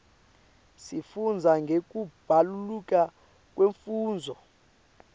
sifundza ngekubaluleka kwemfundvo